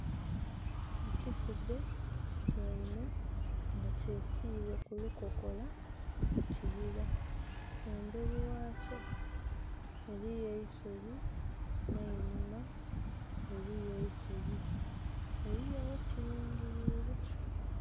Ekisudhe kityaime nga kyesile ku lukokola mu kibira, emberi ghakyo eriyo eisubi ne'nhuma eriyo eisubi eriyo ghekilingilile.